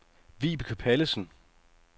Vibeke Pallesen